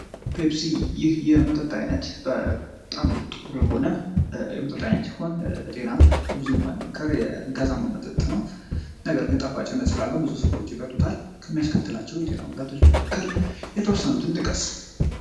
ፐፕሲ የመጠጥ አይነት በጣም ጥሩ የሆነ የመጠጥ አይነት ሲሆን ለጤና ብዙ የማይመከር የመጠጥ አይነት ነው ነገር ግን ጣፋጭነት ስላለው ብዙ ሰዎች ይጠጡታል ከሚያስከትለው የጤና ጉዳቶች መካከል የተወሰኑትን ጥቀስ?